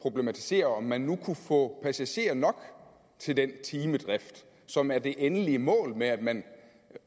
problematisere om man nu kunne få passagerer nok til den timedrift som er det endelige mål med at man